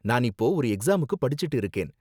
நான் இப்போ ஒரு எக்ஸாமுக்கு படிச்சுட்டு இருக்கேன்.